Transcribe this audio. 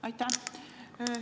Aitäh!